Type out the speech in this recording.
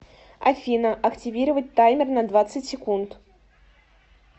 афина активировать таймер на двадцать секунд